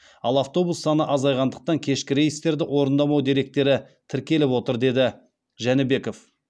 ал автобус саны азайғандықтан кешкі рейстерді орындамау деректері тіркеліп отыр деді жәнібеков